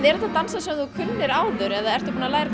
þetta dansar sem þú kunnir áður eða ertu búin að læra